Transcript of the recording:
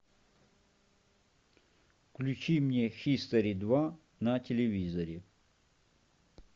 включи мне хистори два на телевизоре